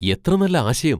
എത്ര നല്ല ആശയം!